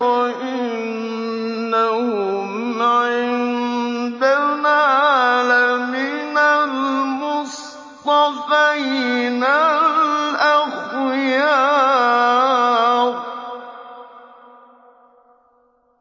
وَإِنَّهُمْ عِندَنَا لَمِنَ الْمُصْطَفَيْنَ الْأَخْيَارِ